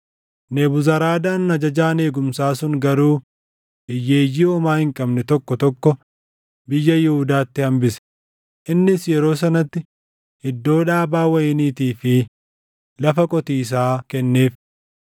Nebuzaradaan ajajaan eegumsaa sun garuu hiyyeeyyii homaa hin qabne tokko tokko biyya Yihuudaatti hambise; innis yeroo sanatti iddoo dhaabaa wayiniitii fi lafa qotiisaa kenneef.